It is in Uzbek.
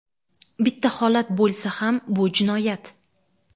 bitta holat bo‘lsa ham – bu jinoyat.